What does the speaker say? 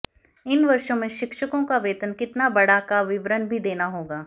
इन वर्षों में शिक्षकों का वेतन कितना बढ़ा का विवरण भी देना होगा